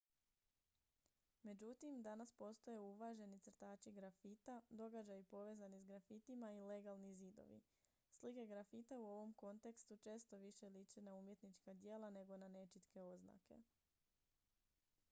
"međutim danas postoje uvaženi crtači grafita događaji povezani s grafitima i "legalni" zidovi. slike grafita u ovom kontekstu često više liče na umjetnička djela nego na nečitke oznake.